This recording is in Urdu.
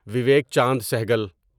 ویویک چاند سہگل